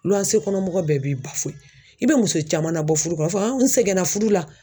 kɔnɔ mɔgɔ bɛɛ b'i ba i bɛ muso caman nabɔ fudu kɔnɔ a b'a fɔ n sɛgɛnna fudu la.